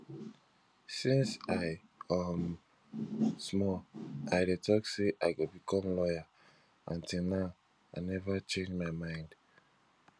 since i um small i dey talk say i go become lawyer and till now i never change my mind